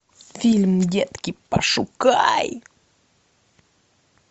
фильм детки пошукай